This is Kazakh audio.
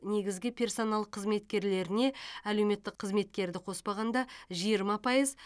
негізгі персонал қызметкерлеріне әлеуметтік қызметкерді қоспағанда жиырма пайыз